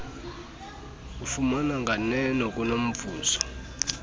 ufumana nganeno kunomvuzo